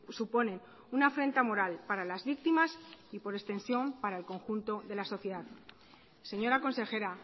suponen una afrenta moral para las víctimas y por extensión para el conjunto de la sociedad señora consejera